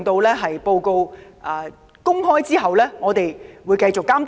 在報告公開後，我們會繼續監督問題。